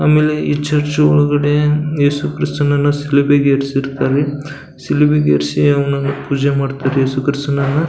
ಆಮೇಲೆ ಈ ಚರ್ಚ್ ಒಳಗಡೆ ಎಸು ಕ್ರೈಸ್ತನನ್ನ ಶಿಲುಬೆಗೆ ಏರಿಸಿರ್ತಾರೆ. ಶಿಲುಬೆಗೆ ಏರಿಸಿ ಅವನನ್ನ ಪೂಜೆ ಮಾಡ್ತಾರೆ ಎಸು ಕ್ರೈಸ್ತನನ್ನ.